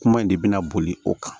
Kuma in de bɛna boli o kan